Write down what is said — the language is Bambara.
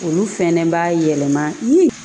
Olu fɛnɛ b'a yɛlɛma